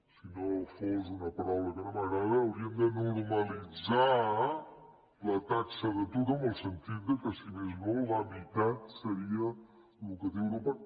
si no fos una paraula que no m’agrada hauríem de normalitzar la taxa d’atur en el sentit que si més no la meitat seria el que té europa